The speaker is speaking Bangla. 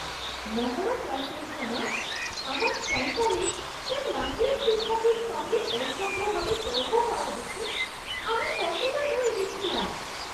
মহড়া ক্লাসের সময় আমার সন্তানের তার নাচের শিক্ষকের সঙ্গে অসভ্য ভাবে তর্ক করা দেখে আমি হতবাক হয়ে গেছিলাম!